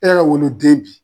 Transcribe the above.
E yɛrɛ ka woloden bi.